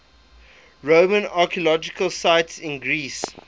roman archaeological sites in greece